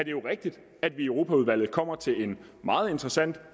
jo rigtigt at vi i europaudvalget kommer til en meget interessant